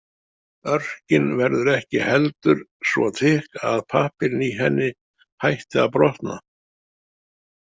Örkin verður ekki heldur svo þykk að pappírinn í henni hætti að „brotna“.